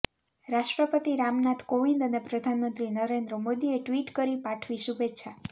રાષ્ટ્રપતિ રામનાથ કોવિંદ અને પ્રધાનમંત્રી નરેન્દ્ર મોદીએ ટ્વીટ કરી પાઠવી શુભેચ્છા